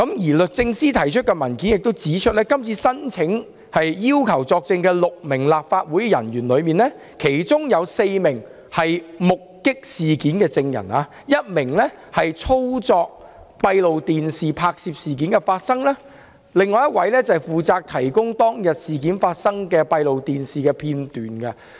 而律政司提交的文件指出，今次申請要求6名立法會人員作證，其中4名人員目擊事件 ；1 名人員操作閉路電視機，拍攝到事件的發生經過；另一位則負責提供當天發生的事件的閉路電視片段。